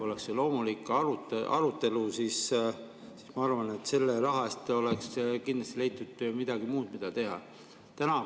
Oleks olnud loomulik arutelu, siis ma arvan, et oleks kindlasti leitud midagi muud, mida selle raha eest teha.